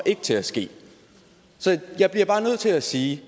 til at ske så jeg bliver bare nødt til at sige